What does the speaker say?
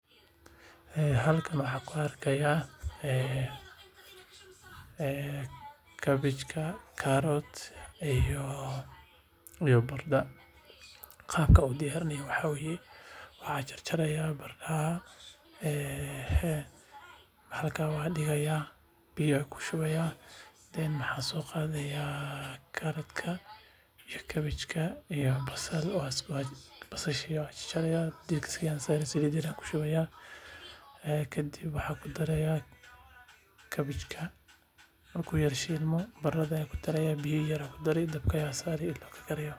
Halkan waxaan ku arki haayo kabachka karad iyo barada qaabka loo diyaarinayo waxa waye waxaan jarjarayaa barada biya ayaa soo qadaya kadib basal ayaa saliid ku daraaya waan shilaya kadib ayaan kabach ku daraaya.